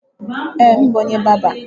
Ee, m bụ onye bárbà.